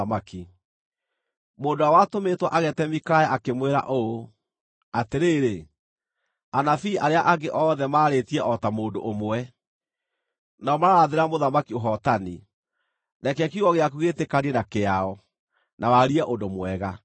Mũndũ ũrĩa watũmĩtwo ageete Mikaya akĩmwĩra ũũ, “Atĩrĩrĩ, anabii arĩa angĩ othe maarĩtie o ta mũndũ ũmwe, nao mararathĩra mũthamaki ũhootani. Reke kiugo gĩaku gĩĩtĩkanie na kĩao, na warie ũndũ mwega.”